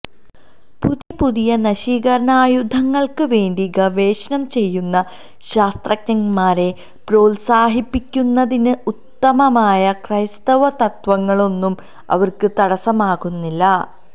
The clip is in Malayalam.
പുതിയ പുതിയ നശീകരണായുധങ്ങള്ക്ക് വേണ്ടി ഗവേഷണം ചെയ്യുന്ന ശാസ്ത്രജ്ഞന്മാരെ പ്രോത്സാഹിപ്പിക്കുന്നതിന് ഉദാത്തമായ ക്രൈസ്തവ തത്ത്വങ്ങളൊന്നും അവര്ക്ക് തടസ്സമാകുന്നില്ല